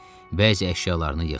Bəzi əşyalarını yığdı.